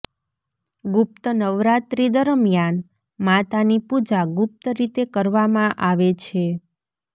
ગુપ્ત નવરાત્રી દરમિયાન માતાની પૂજા ગુપ્ત રીતે કરવામાં આવે છે